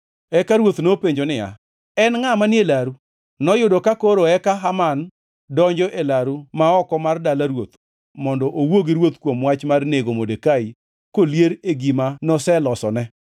Eka ruoth nopenjo niya, “En ngʼa manie laru?” Noyudo ka koro eka Haman donjo e laru ma oko mar dala ruoth mondo owuo gi ruoth kuom wach mar nego Modekai kolier e gima noselosone.